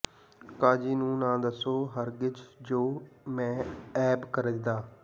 ਕਾਜੀ ਨੂੰ ਨਾ ਦਸੋ ਹਰਗਿਜ਼ ਜੋ ਮੈਂ ਐਬ ਕਰੇਂਦਾ